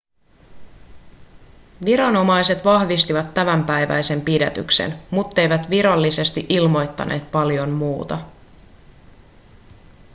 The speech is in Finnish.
viranomaiset vahvistivat tämänpäiväisen pidätyksen mutteivät virallisesti ilmoittaneet paljon muuta